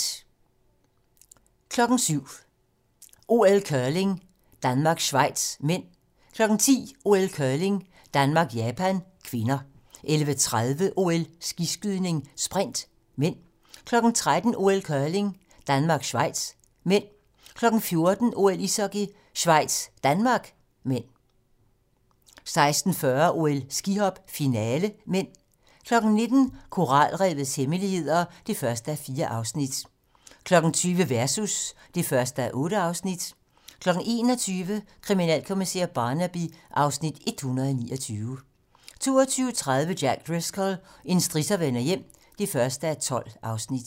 07:00: OL: Curling - Danmark-Schweiz (m) 10:00: OL: Curling - Japan-Danmark (k) 11:30: OL: Skiskydning - sprint (m) 13:00: OL: Curling - Danmark-Schweiz (m) 14:00: OL: Ishockey - Schweiz-Danmark (m) 16:40: OL: Skihop - finale (m) 19:00: Koralrevets hemmeligheder (1:4) 20:00: Versus (1:8) 21:00: Kriminalkommissær Barnaby (Afs. 129) 22:30: Jack Driscoll - en strisser vender hjem (1:12)